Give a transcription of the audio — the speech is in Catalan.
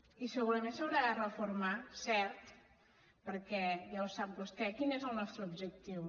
i segurament s’haurà de reformar cert perquè ja el sap vostè quin és el nostre objectiu